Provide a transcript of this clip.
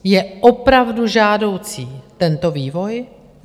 Je opravdu žádoucí tento vývoj?